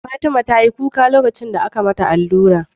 Fatima tayi kuka lokacin da aka mata allura